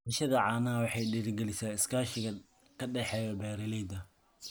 Dhaqashada caanaha waxay dhiirigelisaa iskaashiga ka dhexeeya beeralayda.